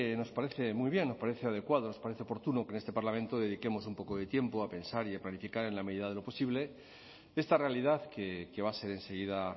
nos parece muy bien nos parece adecuado nos parece oportuno que en este parlamento dediquemos un poco de tiempo a pensar y a planificar en la medida de lo posible esta realidad que va a ser enseguida